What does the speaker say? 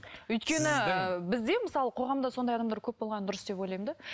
өйткені бізде мысалы қоғамда сондай адамдар көп болғаны дұрыс деп ойлаймын да